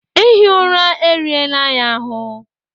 Ihi ụra erienla ya ahụ